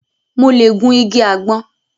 Mo lẹ̀ gun igi àgbọn